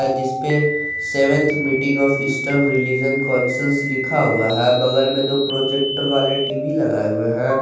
जिसपे seventh meeting of eastern religion councils लिखा हुआ है बगल में दो प्रोजेक्टर वाले टी_वी लगाए हुए हैं।